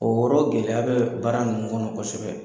O yɔrɔ gɛlɛya bɛ baara ninnu kɔnɔ kosɛbɛ.